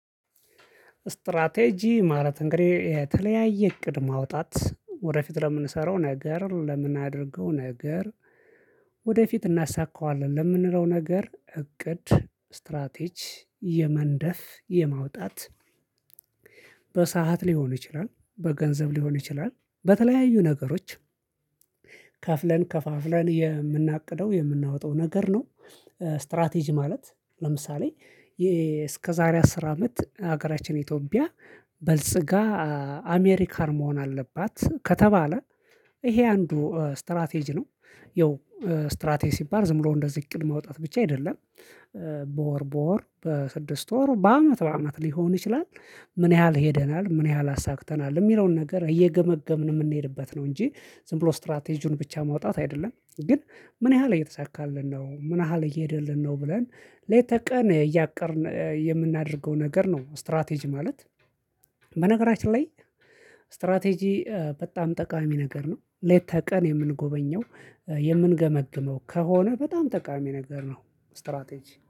እስትራቴጂ ማለት እንግዲህ የተለያየ እቅድ ማውጣት ወደፊት ለምንሰራው ነገር ለምናደርገው ነገር። ወደፊት እናሳካዋለን ለምንለው ነገር እቅድ እስትራቴጅ የመንደፍ የማውጣት። በሰአት ሊሆን ይችላል በገንዘብ ሊሆን ይችላል በተለያዩ ነገሮች ከፍለን ከፋፍለን የምናቅደው የምናወጣው ነገር ነው። ስትራቴጂ ማለት ለምሳሌ ይሄ እስከ ዛሬ አስር አመት ሀገራችን ኢትዮጵያ በልጽጋ አሜሪካን መሆን አለባት ከተባለ ይሄ አንዱ ስትራቴጂ ነው። ይኸው ስትራቴጂ ባል ዝም ብሎ እንደዚህ ቅድመ ማውጣት ብቻ አይደለም። በወር በወር በስድስት ወር በአመት በአመት ሊሆን ይችላል። ምን ያህል ሄደናል ምን ያህል አሳክተናል የሚለውን ነገር እየገመገምን የምንሄድበት ነው እንጂ ዝም ብሎ ስትራቴጂውን ብቻ ማውጣት አይደለም። ግን ምን ያህል እየተሳካልን ነው ምን ያህል እየሄደልን ነው። ብለን ሌተ ቀን እያቀድን የምናደርገው ነገር ነው ስትራቴጂ ማለት። በነገራችን ላይ ስትራቴጂ በጣም ጠቃሚ ነገር ነው። ሌት ተ ቀን የምንጎበኘው የምንገመግመው ከሆነ በጣም ጠቃሚ ነገር ነው። ስትራቴጂ